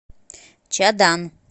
чадан